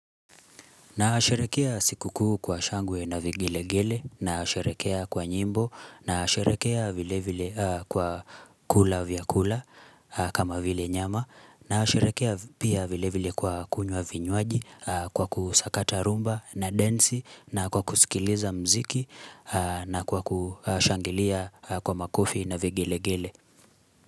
Nasherehekea sikuu kwa shangwe na vigeregere, nasherehekea kwa nyimbo, nasherehekea vile vile kwa kula vya kula kama vile nyama, nasherehekea pia vile vile kwa kunywa vinywaji kwa kusakata rhumba na densi na kwa kusikiliza muziki na kwa kushangilia kwa makofi na vigilegele.